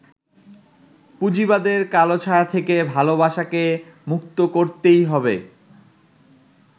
পুঁজিবাদের কালো ছায়া থেকে ভালোবাসাকে মুক্ত করতেই হবে।